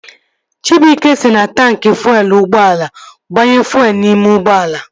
Chibuike si na taanki fuelu ụgbọala agbanye fuelu n'ime ụgbọala